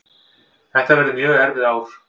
Þetta verði mjög erfið ár